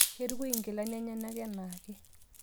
keitukui inkilani enyenak enaake